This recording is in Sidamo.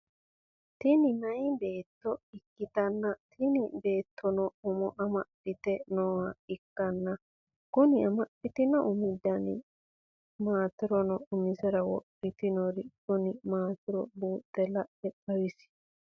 Tini meeyaa beetto ikkitanna tini beettono umo amadhite nooha ikkanna Kuni amadhitinno Umi Dani maatironna umisera wodhitinori Kuni maatiro buuxe la'e xawisie?